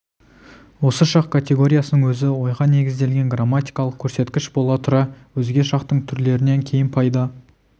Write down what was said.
осы шақ категориясының өзі ойға негізделген грамматикалық көрсеткіш бола тұра өзге шақтың түрлерінен кейін пайда